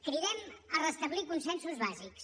cridem a restablir consensos bàsics